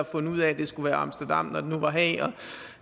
fundet ud af at det skulle være amsterdam når det nu var haag